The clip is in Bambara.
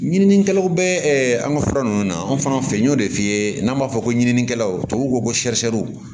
Ɲininikɛlaw bɛ an ka fura ninnu na an fana fɛ n y'o de f'i ye n'an b'a fɔ ko ɲininikɛlaw tubabu ko ko